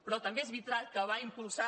però també és veritat que va impulsar